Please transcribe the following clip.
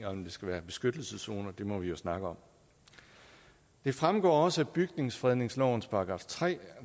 om det skal være en beskyttelseszone må vi jo snakke om det fremgår også af bygningsfredningslovens § tre